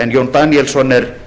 en jón daníelsson er